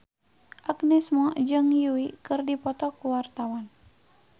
Agnes Mo jeung Yui keur dipoto ku wartawan